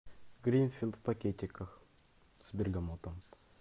гринфилд в пакетиках с бергамотом